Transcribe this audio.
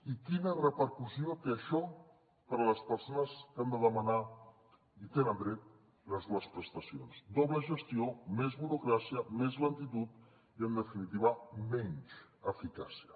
i quina repercussió té això per a les persones que han de demanar hi tenen dret les dues prestacions doble gestió més burocràcia més lentitud i en definitiva menys eficàcia